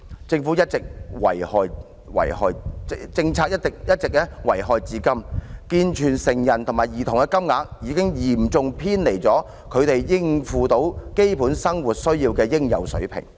這項政策一直遺害至今，以致健全成人及兒童的金額已嚴重偏離他們應付基本生活需要的應有水平。